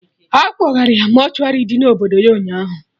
Akpọgara ya mortuary dị na obodo ya, ụnyaahụ